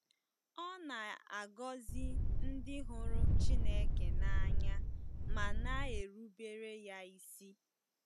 Ọ na-agọzi ndị hụrụ Chineke n’anya ma na-erubere ya isi.